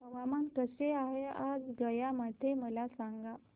हवामान कसे आहे आज गया मध्ये मला सांगा